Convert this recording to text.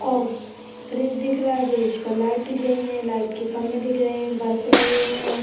और ब्रिज दिख रहा है ब्रिज पर लाइट दिख रही है लाइट के खम्बे दिख रहे हैं बल्ब भी लगे हुए हैं ।